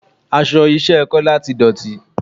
Aṣọ iṣẹ́ Kola ti dọ̀tí